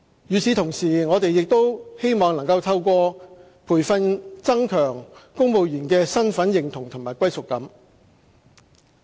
與此同時，我們亦希望能透過培訓增強公務員的身份認同和歸屬感。